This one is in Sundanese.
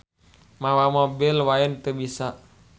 Mawa mobil wae teu bisa.